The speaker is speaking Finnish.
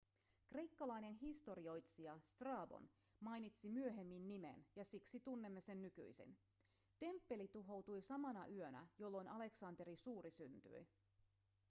kreikkalainen historioitsija strabon mainitsi myöhemmin nimen ja siksi tunnemme sen nykyisin temppeli tuhoutui samana yönä jolloin aleksanteri suuri syntyi